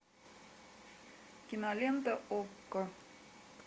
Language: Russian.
кинолента окко